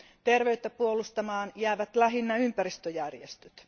Terveyttä puolustamaan jäävät lähinnä ympäristöjärjestöt.